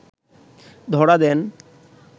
ধরা দেন